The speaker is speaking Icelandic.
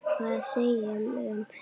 Hvað segirðu um þau, ha?